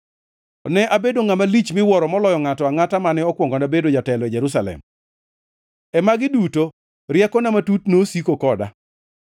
Ne abedo ngʼama lich miwuoro moloyo ngʼato angʼata mane okuongona bedo jatelo e Jerusalem. E magi duto riekona matut nosiko koda.